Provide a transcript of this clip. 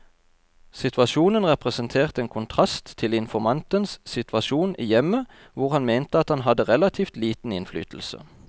Situasjonen representerte en kontrast til informantens situasjon i hjemmet, hvor han mente at han hadde relativt liten innflytelse.